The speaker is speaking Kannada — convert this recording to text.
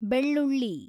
ಬೆಳ್ಳುಳ್ಳಿ